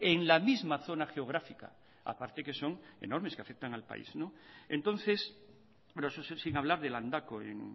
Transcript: en la misma zona geográfica aparte que son enormes que afectan al país pero eso sin hablar de landako en